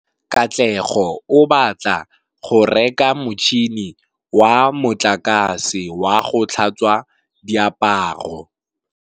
Katlego o batla go reka motšhine wa motlakase wa go tlhatswa diaparo.